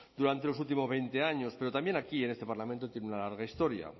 durante los últimos veinte años pero también aquí en este parlamento tiene una larga historia